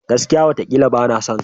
Gaskiya! watakila bana son ka.